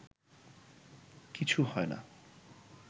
কিছু হয় না